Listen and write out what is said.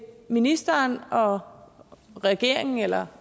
ministeren og regeringen eller